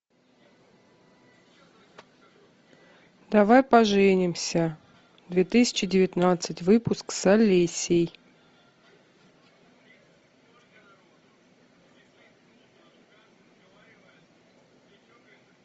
давай поженимся две тысячи девятнадцать выпуск с олесей